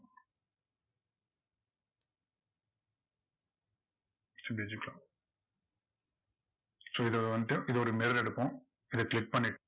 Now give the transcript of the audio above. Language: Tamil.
it's digital so இதை வந்துட்டு இதோட mirror எடுப்போம், இதை click பண்ணிட்டு